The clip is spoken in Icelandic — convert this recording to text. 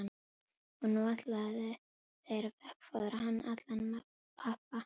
Og nú ætluðu þeir að veggfóðra hann allan með pappa.